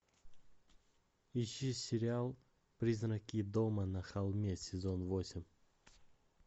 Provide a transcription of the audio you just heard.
ищи сериал призраки дома на холме сезон восемь